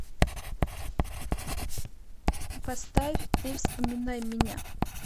поставь ты вспоминай меня